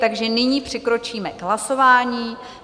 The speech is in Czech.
Takže nyní přikročíme k hlasování.